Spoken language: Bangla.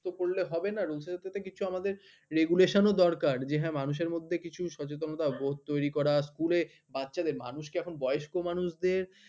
ব্যপ্ত করলে হবে না rules এর সাথে কিছু আমাদের regulation এর ও দরকার যে হ্যা মানুষের মধ্যে কিছু সচেতনতা অভ্যেস তৈরী করা school এ বাচ্চাদের মানুষকে এখন বয়স্ক মানুষদের